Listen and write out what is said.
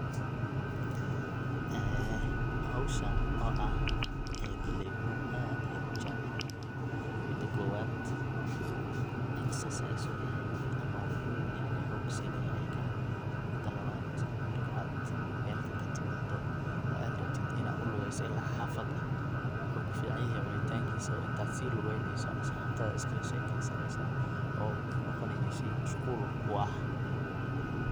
Howshan oo ah galey cunow aad ayan ujeclahay aniga, midha kowaad wuxu exercise uyahay ama wuxu xoog sinaya ilkaha mida lawad marka ad magalka katimado oo ad rabtid in aad ulugeyso ila xafada wuxu kuficanyahay cunitankisa intadba si lugeneyso asxabtada iskalashekeysani oo wuxu noqonaya sheg mashqul kuah.